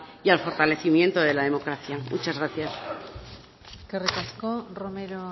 y al fortalecimiento de la democracia muchas gracias eskerrik asko romero